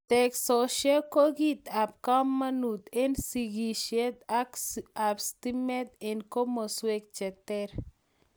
Teksosiek ko kit ab kamanut eng sikishet ab stimet eng komaswek che ter